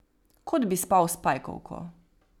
Kot bi spal s pajkovko.